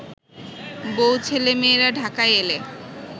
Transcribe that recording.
বউ-ছেলেমেয়েরা ঢাকায় এলে